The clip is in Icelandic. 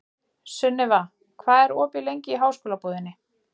Sunniva, hvað er opið lengi í Háskólabúðinni?